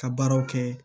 Ka baaraw kɛ